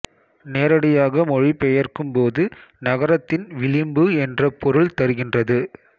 நேரடியாக மொழி பெயர்க்கும்போது நகரத்தின் விளிம்பு என்ற பொருள் தருகின்றது